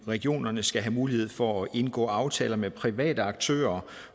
regionerne skal have mulighed for at indgå aftaler med private aktører